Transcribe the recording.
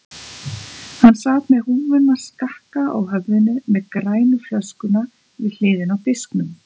Hann sat með húfuna skakka á höfðinu með grænu flöskuna við hliðina á disknum.